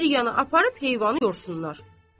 bir yana aparıb heyvanı yorsunlar.